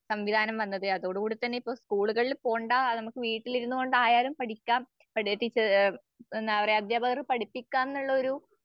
സംവിധാനം വന്നത്. അതോടുകൂടിതന്നെ സ്കൂളുകളിൽ പോണ്ട നമുക്ക് വീട്ടിലിരുന്ന്‌കൊണ്ടായാലും പഠിക്കാം പഠിപ്പിച്ച് ഏഹ് എന്താപറയ അധ്യാപകർ പഠിപ്പിക്കാംന്നുള്ളൊരു